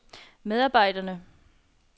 medarbejderne